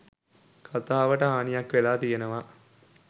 කතාවට හානියක් වෙලා තියෙනවා